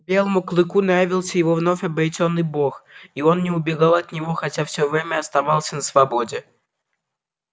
белому клыку нравился его вновь обретённый бог и он не убегал от него хотя все время оставался на свободе